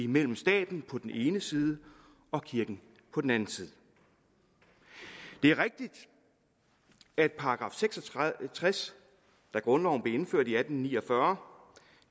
mellem staten på den ene side og kirken på den anden side det er rigtigt at § seks og tres da grundloven blev indført i atten ni og fyrre